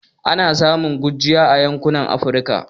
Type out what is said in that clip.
Ana samun gurjiya a yankunan Afirka